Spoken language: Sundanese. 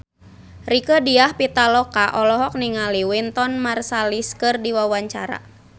Rieke Diah Pitaloka olohok ningali Wynton Marsalis keur diwawancara